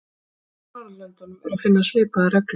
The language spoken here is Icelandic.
Á hinum Norðurlöndunum er að finna svipaðar reglur.